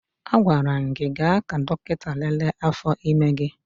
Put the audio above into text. Agwara m gị gaa ka dọkịta lelee afọ ime gị!